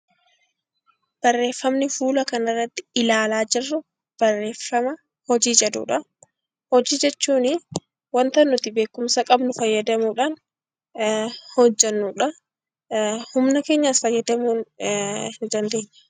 Barreeffamni fuula kana irratti ilaalaa jirru barreeffama hojii jedhuudha. Hojii jechuun waanta nuti beekumsa qabnuu fayyadamuudhaan hojjennudha, humna keenyas fayyadamuu ni dandeenya.